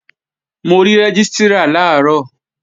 Mo rí Rẹ́gístrà làárọ̀